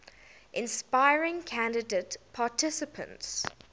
inspiring candidate participants